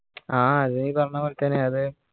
ആ അത് നീ പറന്ന പോലെ തന്നെയത്